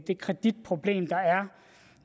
det kreditproblem der er